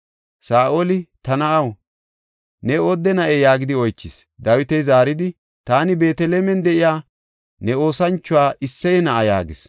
Saa7oli, “Ta na7aw, ne oodde na7ee?” yaagidi oychis. Dawiti zaaridi, “Taani Beetelemen de7iya ne oosanchuwa, Isseye na7a” yaagis.